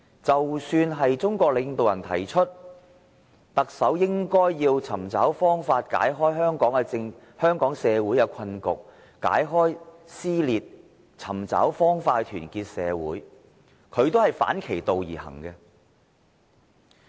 即使中國領導人提出，特首應尋找方法解開香港社會的困局和撕裂，尋找方法去團結社會，但他仍是反其道而行。